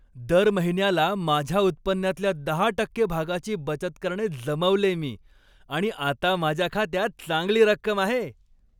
दर महिन्याला माझ्या उत्पन्नातल्या दहा टक्के भागाची बचत करणे जमवलेय मी आणि आता माझ्या खात्यात चांगली रक्कम आहे.